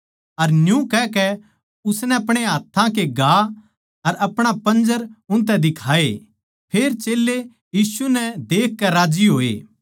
अर न्यू कहकै उसनै अपणे हाथ्थां के घा अर अपणा पंजर उनतै दिखाए फेर चेल्लें यीशु नै देखकै राज्जी होए